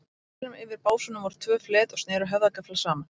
Á pallinum, yfir básunum, voru tvö flet og sneru höfðagaflar saman.